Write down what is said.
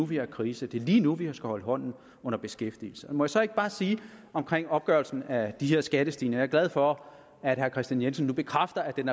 vi har krise det er lige nu vi skal holde hånden under beskæftigelsen må jeg så ikke bare sige om opgørelsen af de her skattestigninger er glad for at herre kristian jensen nu bekræfter at den